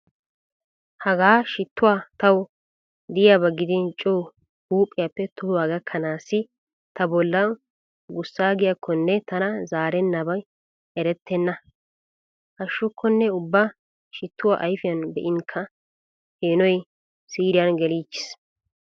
Hagaa shittuwaa tawu diyaba gidin co huuphiyappe tohuwaa gakkanaassi ta bollan gussaagiyaakkonne tana zaaranabi erettena. Hashshukkonne ubba shittuwaa ayfiyan be'inkka peenoy siiriyan geliichchiis.